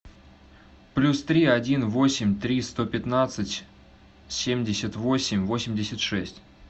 плюс три один восемь три сто пятнадцать семьдесят восемь восемьдесят шесть